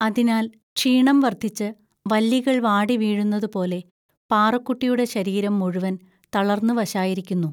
അതിനാൽ ക്ഷീണം വർദ്ധിച്ച് വല്ലികൾ വാടിവീഴുന്നതുപോലെ പാറുക്കുട്ടിയുടെ ശരീരം മുഴുവൻ തളർന്നുവശായിരിക്കുന്നു